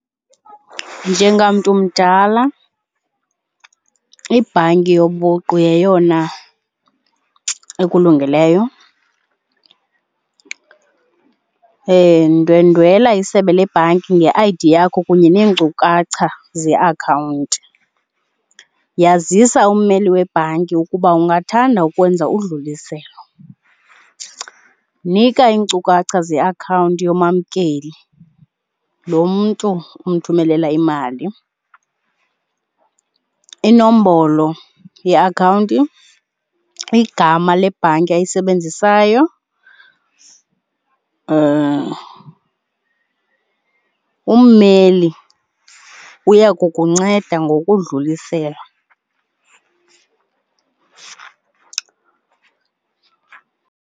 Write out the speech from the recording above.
Njengamntu mdala ibhanki yobuqu yeyona ekulungeleyo. Ndwendwela isebe lebhanki nge-I_D yakho kunye neenkcukacha zeakhawunti. Yazisa ummeli webhanki ukuba ungathanda ukwenza udluliselo. Nika iinkcukacha zekhawunti yoomamkeli, lo mntu umthumelela imali, inombolo yeakhawunti, igama lebhanki ayisebenzisayo. Ummeli uya kukunceda ngokudlulisela.